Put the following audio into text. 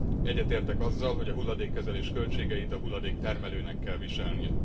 Egyetértek azzal, hogy a hulladékkezelés költségeit a hulladéktermelőnek kell viselni.